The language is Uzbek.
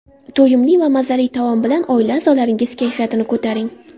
To‘yimli va mazali taom bilan oila a’zolaringiz kayfiyatini ko‘taring.